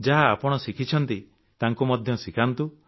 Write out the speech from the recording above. ଯାହା ଆପଣ ଶିଖିଛନ୍ତି ତାଙ୍କୁ ମଧ୍ୟ ଶିଖାନ୍ତୁ